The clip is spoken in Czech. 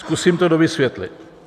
Zkusím to dovysvětlit.